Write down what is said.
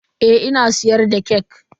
Eh ina siyar da kek.